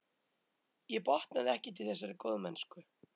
Ég botnaði ekkert í þessari góðmennsku.